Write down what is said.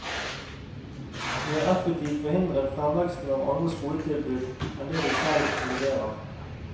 De har effektivt forhindret fremveksten av andre skoletilbud enn det de selv leverer.